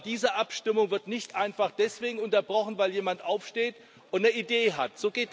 Aber diese Abstimmung wird nicht einfach deswegen unterbrochen, weil jemand aufsteht und eine Idee hat.